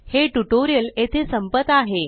हे ट्यूटोरियल येथे संपत आहे